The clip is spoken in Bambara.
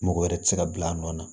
Mɔgɔ wɛrɛ ti se ka bila a nɔ na